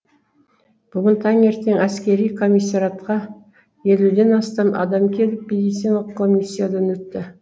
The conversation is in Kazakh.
бүгін таңертең әскери комиссариатқа елуден астам адам келіп медициналық коммиясиядан өтті